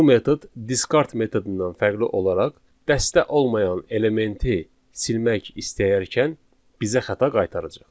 Bu metod discard metodundan fərqli olaraq, dəstə olmayan elementi silmək istəyərkən bizə xəta qaytaracaq.